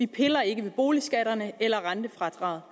piller ikke ved boligskatterne eller rentefradraget